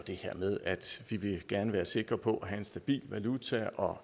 det her med at vi gerne vil være sikre på at have en stabil valuta og